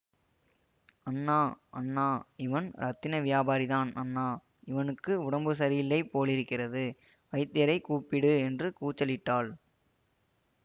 அண்ணா அண்ணா இவன் இரத்தின வியாபாரிதான் அண்ணா இவனுக்கு உடம்பு சரியில்லை போலிருக்கிறது வைத்தியரைக் கூப்பிடு என்று கூச்சலிட்டாள்